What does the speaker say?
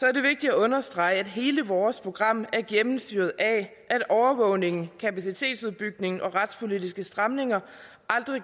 er det vigtigt at understrege at hele vores program er gennemsyret af at overvågningen kapacitetsudbygningen og retspolitiske stramninger aldrig